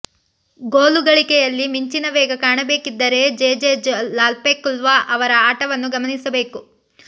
goal ಗಳಿಕೆಯಲ್ಲಿ ಮಿಂಚಿನ ವೇಗ ಕಾಣಬೇಗಿದ್ದರೆ ಜೆಜೆ ಲಾಲ್ಪೆಖ್ಲುವಾ ಅವರ ಆಟವನ್ನು ಗಮನಿಸಬೇಕು